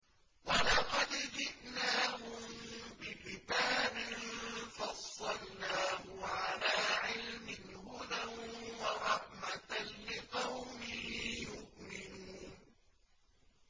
وَلَقَدْ جِئْنَاهُم بِكِتَابٍ فَصَّلْنَاهُ عَلَىٰ عِلْمٍ هُدًى وَرَحْمَةً لِّقَوْمٍ يُؤْمِنُونَ